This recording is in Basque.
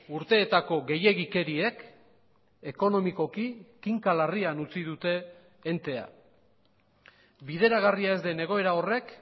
urteetako gehiegikeriek ekonomikoki kinka larrian utzi dute entea bideragarria ez den egoera horrek